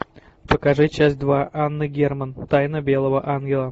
покажи часть два анна герман тайна белого ангела